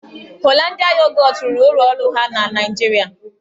Holandịa Yogọt rụrụ ụlọ ọrụ ha na Naịjirịa.